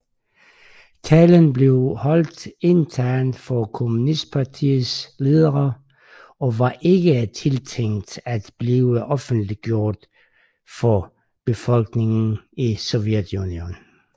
Talen blev holdt internt for kommunistpartiets ledere og var ikke tiltænkt at blive offentliggjort for befolkningen i Sovjetunionen